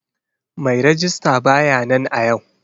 Mai rejista ba ya nan a yau.